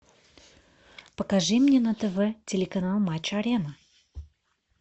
покажи мне на тв телеканал матч арена